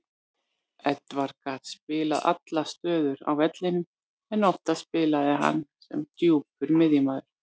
Edwards gat spilað allar stöður á vellinum en oftast spilaði hann sem djúpur miðjumaður.